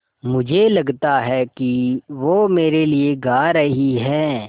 मुझे लगता है कि वो मेरे लिये गा रहीं हैँ